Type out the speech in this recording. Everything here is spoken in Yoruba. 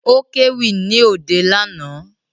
Ó kéwì ní òde lánàá